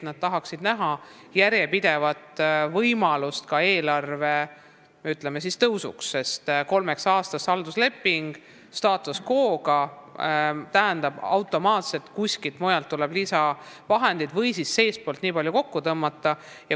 Nad tahaksid näha järjepidevat eelarve tõusu, sest kolmeaastane status quo'ga haldusleping tähendab automaatselt seda, et kuskilt mujalt tuleb lisavahendeid saada või siis seestpoolt palju kokku tõmmata.